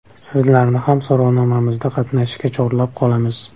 Sizlarni ham so‘rovnomamizda qatnashishga chorlab qolamiz.